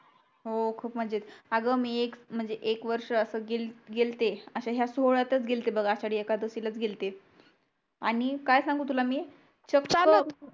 हो खूप मज्जा येति आग मी ए म्हणजे एक वर्ष असच गेल्ते असाच ह्या सोहळ्यातच गेल्ते बग आषाडी एकादसीला च गेल्ते आणि काय सांगू तुला मी